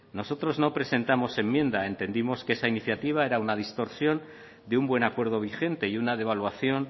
nosotros no presentamos enmienda entendimos que esa iniciativa era una distorsión de un buen acuerdo vigente y una devaluación